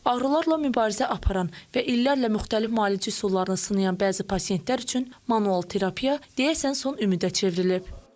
Ağrılarla mübarizə aparan və illərlə müxtəlif müalicə üsullarını sınayan bəzi pasientlər üçün manual terapiya deyəsən son ümidə çevrilib.